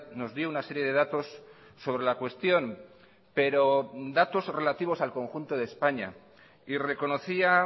nos dio una serie de datos sobre la cuestión pero datos relativos al conjunto de españa y reconocía